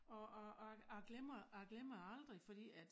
Og og og jeg glemmer jeg glemmer det aldrig fordi at